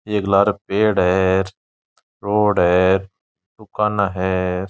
एक लारे पेड़ है रोड है दुकाना है।